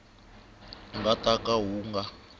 nga ta ka wu nga